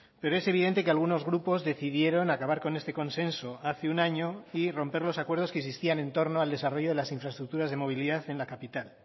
pero es evidente que algunos grupos decidieron acabar con este consenso hace un año y romper los acuerdos que existían en torno al desarrollo de las infraestructuras de movilidad en la capital